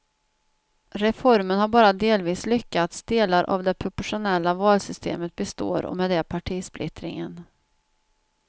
Reformen har bara delvis lyckats, delar av det proportionella valsystemet består och med det partisplittringen.